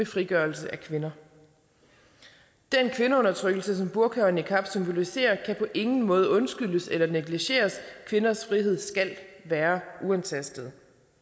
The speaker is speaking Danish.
frigørelse af kvinder den kvindeundertrykkelse som burka og niqab symboliserer kan på ingen måde undskyldes eller negligeres kvinders frihed skal være uantastet